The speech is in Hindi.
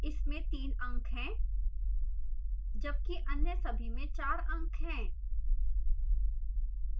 इसमें तीन अंक हैं जबकि अन्य सभी में चार अंक हैं